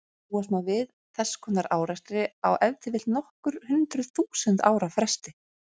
Búast má við þess konar árekstri á ef til vill nokkur hundruð þúsund ára fresti.